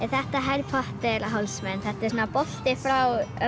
þetta Harry Potter hálsmen þetta er svona bolti frá